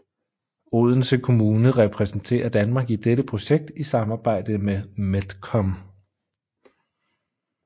Odense Kommune repræsenterer Danmark i dette projekt i samarbejde med MedCom